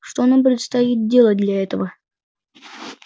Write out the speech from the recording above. что нам предстоит делать для этого